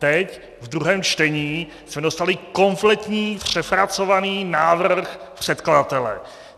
Teď ve druhém čtení jsme dostali kompletní přepracovaný návrh předkladatele.